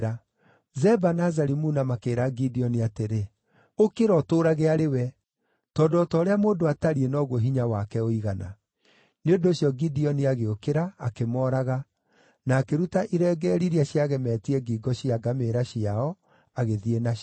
Zeba na Zalimuna makĩĩra Gideoni atĩrĩ, “Ũkĩra, ũtũũrage arĩ we. Tondũ o ta ũrĩa mũndũ atariĩ noguo hinya wake ũigana.” Nĩ ũndũ ũcio Gideoni agĩũkĩra, akĩmooraga, na akĩruta irengeeri iria ciagemetie ngingo cia ngamĩĩra ciao, agĩthiĩ nacio.